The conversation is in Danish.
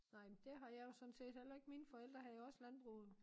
Nej men det har jeg jo sådan set heller ikke mine forældre havde jo også landbrug